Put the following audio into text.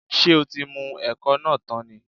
Ṣé o tí mu ẹ̀kọ náà tán ni?